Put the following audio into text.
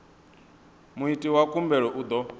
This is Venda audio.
muiti wa khumbelo u ḓo